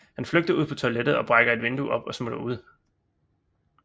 Han flygter ud på toilettet og brækker et vindue op og smutter ud